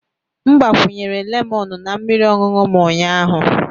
M gbakwunyere lemọnụ na mmiri ọṅụṅụ m ụnyaahụ.